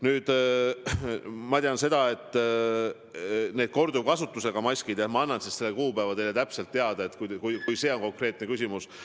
Nüüd, need korduvkasutusega maskid – ma annan teile hiljem selle kuupäeva teada, kui see on konkreetne küsimus.